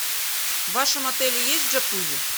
в вашем отеле есть джакузи